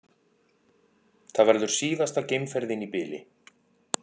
Það verður síðasta geimferðin í bili